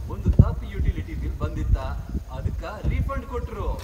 ಒಂದ್ ತಪ್ utility bill ಬಂದಿತ್ತ, ಅದ್ಕ ರೀಫಂಡ್ ಕೊಟ್ರು.